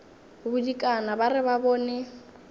bodikana ba re ba bone